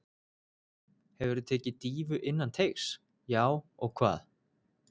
Hefurðu tekið dýfu innan teigs: Já og hvað?